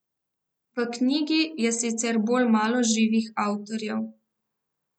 V knjigi je sicer bolj malo živih avtorjev.